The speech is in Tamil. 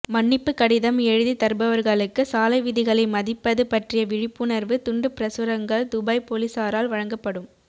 மன்னிப்பு கடிதம் எழுதித் தருபவர்களுக்கு சாலைவிதிகளை மதிப்பது பற்றிய விழிப்புணர்வு துண்டுப் பிரசுரங்கள் துபை போலீஸாரால் வழங்கப்படும்